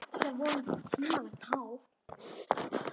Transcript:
Það er vonandi tímanna tákn.